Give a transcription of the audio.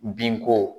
Binko